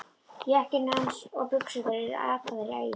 Jakkinn hans og buxurnar eru ataðar í ælu.